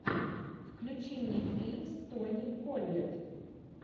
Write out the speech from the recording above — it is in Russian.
включи мне фильм с тони коллет